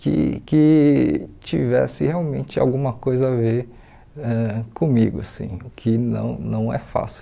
que que tivesse realmente alguma coisa a ver ãh comigo assim, o que não não é fácil.